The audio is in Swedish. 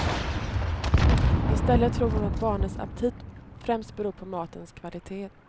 Istället tror hon att barnens aptit främst beror på matens kvalitet.